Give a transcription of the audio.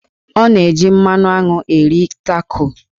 Ọ na-eji mmanụ aṅụ eri Taco.